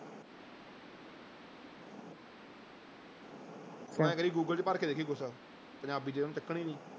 ਤੂੰ ਇਉਂ ਕਰੀ ਗੂਗਲ ਚ ਭਰ ਕੇ ਦੇਖੀ ਕੁਛ ਪੰਜਾਬੀ ਚ ਉਹਨੇ ਚੱਕਣੀ ਨੀ।